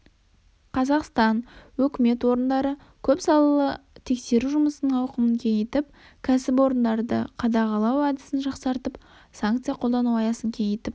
қазақстан өкімет орындары көп салалы тексеру жұмысының ауқымын кеңейтіп кәсіпорындарды қадағалау әдісін жақсартып санкция қолдану аясын кеңейтіп